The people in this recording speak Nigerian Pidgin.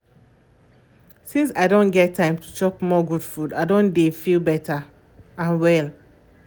since i don get time to chop more good food i don dey um feel better and well